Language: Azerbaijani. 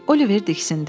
Oliver diksindi.